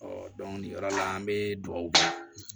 nin yɔrɔ la an bɛ dugawu kɛ